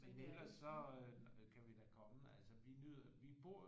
Men ellers så kan vi da komme altså vi nyder vi bor